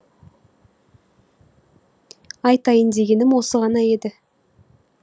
айтайын дегенім осы ғана еді